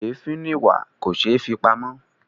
Èéfín ni ìwà; kò ṣeé fi pamọ́.